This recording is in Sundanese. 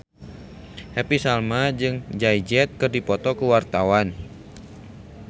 Happy Salma jeung Jay Z keur dipoto ku wartawan